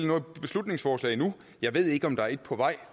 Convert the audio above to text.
noget beslutningsforslag endnu jeg ved ikke om der er et på vej